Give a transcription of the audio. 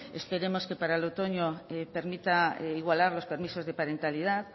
esperemos que para el otoño permita igualar los permisos de parentalidad